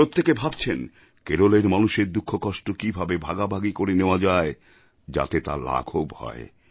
প্রত্যেকে ভাবছেন কেরলের মানুষের দুঃখকষ্ট কীভাবে ভাগাভাগি করে নেওয়া যায় যাতে তা লাঘব হয়